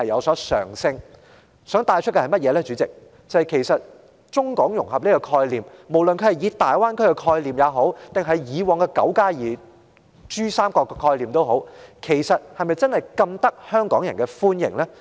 我想帶出的問題是，主席，其實中港融合的概念，不是大灣區或以往的泛珠三角區域合作的概念，是否真的受香港人歡迎呢？